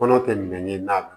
Kɔnɔ tɛ min ye n'a don